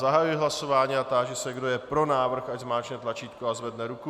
Zahajuji hlasování a táži se, kdo je pro návrh, ať zmáčkne tlačítko a zvedne ruku.